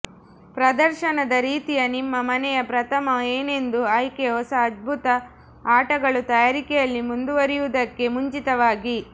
ಪ್ರದರ್ಶನದ ರೀತಿಯ ನಿಮ್ಮ ಮನೆಯ ಪ್ರಥಮ ಏನೆಂದು ಆಯ್ಕೆ ಹೊಸ ಅದ್ಭುತ ಆಟಗಳು ತಯಾರಿಕೆಯಲ್ಲಿ ಮುಂದುವರಿಯುವುದಕ್ಕೆ ಮುಂಚಿತವಾಗಿ